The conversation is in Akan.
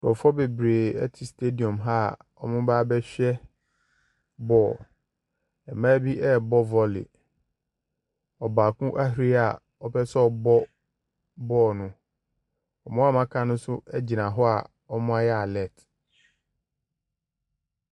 Nkurɔfoɔ bebree ɛte stediɔm ha a ɔmo ba bɛhwɛ bɔɔl. Mmaa bi ɛɛbɔ vɔli. Ɔbaako ahuri a ɔpɛsɛ ɔbɔ bɔɔl no. Ɔmo a ɔmo aka no nso gyina hɔ a ɔmo ayɛ alɛt.